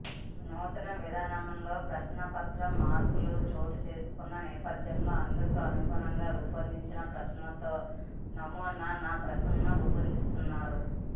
నూతన విధానంలో ప్రశ్నాపత్రం మార్పులు చోటు చేసుకున్న నేపథ్యంలో అందుకు అనుగుణంగా రూపొందించిన ప్రశ్నలతో నమూ నా ప్రశ్నాలను రూపొందించనున్నారు